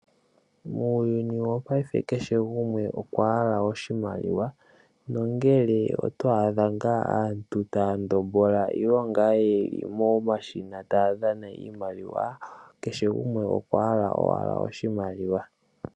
Muuyuni wopayife kehe gumwe okwahala oshimaliwa , nongele oto adha ngaa aantu taya ndombola nenge ngaa yeli momashina taya dhana iimaliwa kehe gumwe okwahala owala oshimaliwa.